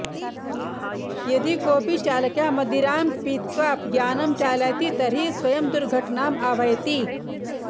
यदि कोऽपि चालकः मदिरां पीत्वा यानं चालयति तर्हि स्वयं दुर्घटनाम् आह्वयति